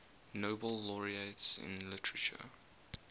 nobel laureates in literature